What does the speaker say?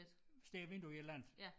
Står og venter på et eller andet